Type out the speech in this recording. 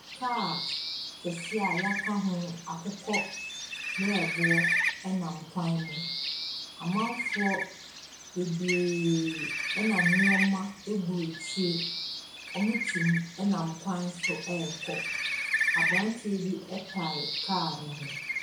Car kɛse a yɛaka bo akokɔmmereboɔ nam kwan no mu. Amanfoɔ bebree na nnoɔma gu akyire. Wɔte mu nam kwan so rekɔ. Abrante bi tare car no ho.